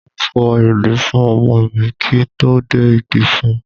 Mo fọ ìdí fún ọmọ mi kí n tó dé ìdí fún un.